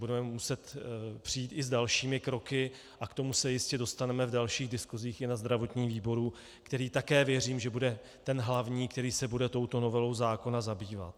Budeme muset přijít i s dalšími kroky a k tomu se jistě dostaneme v dalších diskusích i na zdravotním výboru, který také věřím, že bude ten hlavní, který se bude touto novelou zákona zabývat.